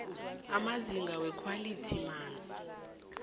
amazinga wekhwalithi yamanzi